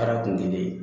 Baara kun tɛ ne ye